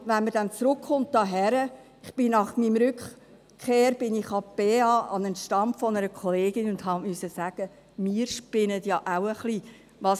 Wenn man dann aber hierher zurückkommt – nach meiner Rückkehr ging ich an der BEA, an einen Stand einer Kollegin, und musste sagen: Wir spinnen ja auch ein wenig.